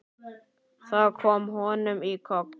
Það kom honum í koll.